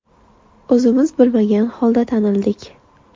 O‘zimiz bilmagan holda tanildik.